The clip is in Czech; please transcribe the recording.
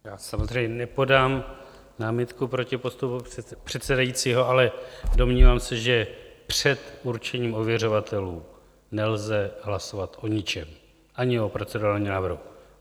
Já samozřejmě nepodám námitku proti postupu předsedajícího, ale domnívám se, že před určením ověřovatelů nelze hlasovat o ničem - ani o procedurálním návrhu.